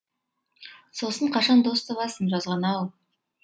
сосын қашан дос табасың жазған ау